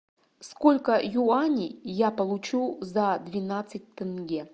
сколько юаней я получу за двенадцать тенге